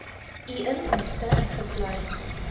u inkomste ingesluit